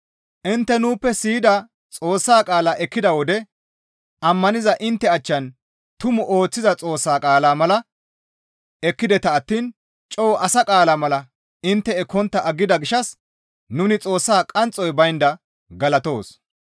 Intte nuuppe siyida Xoossa qaalaa ekkida wode ammaniza intte achchan tumu ooththiza Xoossa qaalaa mala ekkideta attiin coo asa qaala mala intte ekkontta aggida gishshas nuni Xoossaa qanxxoy baynda galatoos.